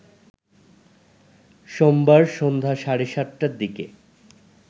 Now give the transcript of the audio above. সোমবার সন্ধ্যা সাড়ে ৭টার দিকে